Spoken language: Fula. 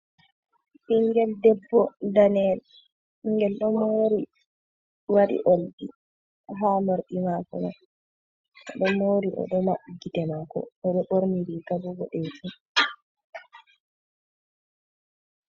Ɓingel debbo, daneyel ngel ɗo mori waɗi oldi ha morɗi mako mai, ɗo mori oɗo maɓɓi gite mako o do ɓorni riga bo boɗeejum.